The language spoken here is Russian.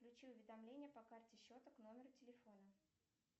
включи уведомление по карте счета к номеру телефона